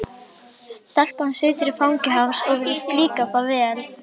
Stelpan situr í fangi hans og virðist líka það vel.